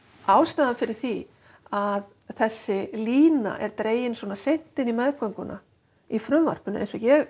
ástæðan fyrir því að þessi lína er dregin svona seint í meðgöngu í frumvarpinu eins og ég